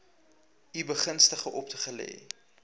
u begunstigdes opgelê